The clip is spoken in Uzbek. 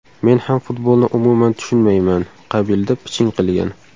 Men ham futbolni umuman tushunmayman”, qabilida piching qilgan .